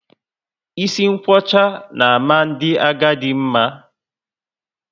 Isi nkwocha na ama ndị agadi mma